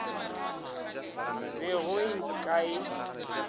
be go e ka e